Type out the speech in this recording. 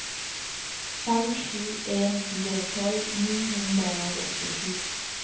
fem sju en fire tolv ni hundre og åttisju